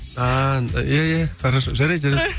ааа иә иә иә хорошо жарайды жарайды